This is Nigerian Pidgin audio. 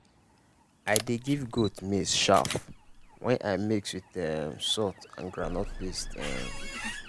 i dey give goat maize chaff wey i mix with um salt and groundnut paste. um